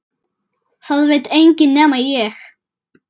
Það veit enginn nema ég.